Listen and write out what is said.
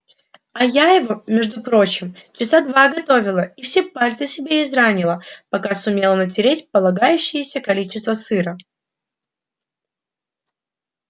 а я его между прочим часа два готовила и все пальцы себе изранила пока сумела натереть полагающееся количество сыра